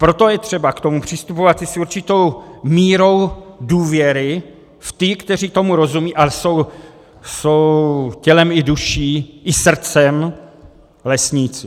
Proto je třeba k tomu přistupovat i s určitou mírou důvěry v ty, kteří tomu rozumějí a jsou tělem i duší i srdcem lesníci.